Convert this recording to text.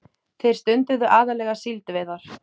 Þeir stunduðu aðallega síldveiðar.